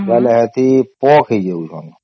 ବୋଲେ ସେଠି ପୋକ ହେଇଯାଉଛନ